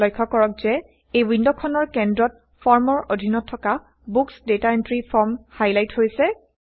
লক্ষয়160কৰক যে এই ৱিণ্ডখনৰ কেন্দ্ৰত ফৰ্মৰ অধীনত থকা books data entry form highlight হৈছে